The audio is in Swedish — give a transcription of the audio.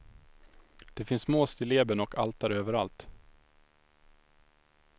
Det finns små stilleben och altare överallt.